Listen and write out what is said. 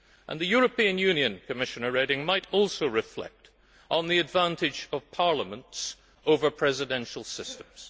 And the European Union, Commissioner Reding, might also reflect on the advantage of parliaments over presidential systems.